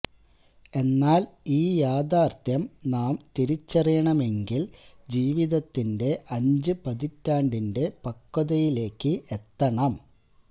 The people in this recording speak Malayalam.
എന്നാല് ഈ യാഥാര്ത്ഥ്യം നാം തിരിച്ചറിയണമെങ്കില് ജീവിതത്തിന്റെ അഞ്ച് പതിറ്റാണ്ടിന്റെ പക്വതയിലേക്ക് എത്തണം